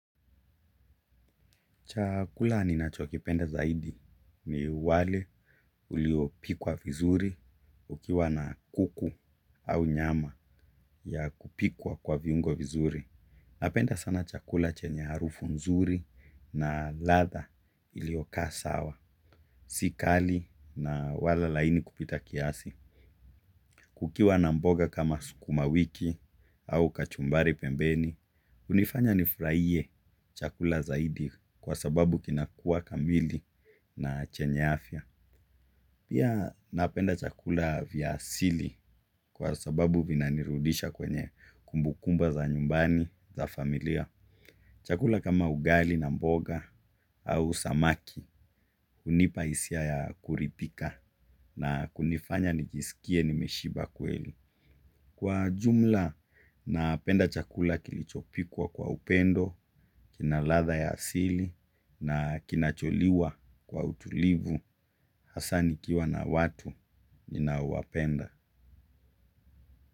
Chakula ninacho kipenda zaidi ni wali uliyo pikwa vizuri ikiwa na kuku au nyama ya kupikwa kwa viungo vizuri. Napenda sana chakula chenye harufu nzuri na ladha ilioyo kaa sawa. Si kali na wala laini kupita kiasi. Kukiwa na mboga kama skuma wiki au kachumbari pembeni hunifanya nifuraihie chakula zaidi kwa sababu kinakua kamili na chenye afya. Pia napenda chakula vya asili kwa sababu vina nirudisha kwenye kumbukumba za nyumbani za familia. Chakula kama ugali na mboga au samaki hunipa hisia ya kuridhika na kunifanya nijisikie nimeshiba kweli. Kwa jumla napenda chakula kilichopikwa kwa upendo, kina ladha ya asili na kinacholiwa kwa utulivu, hasa nikiwa na watu ninaowapenda.